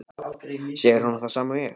Sér hún það sama og ég?